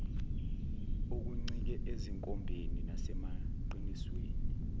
okuncike ezinkombeni nasemaqinisweni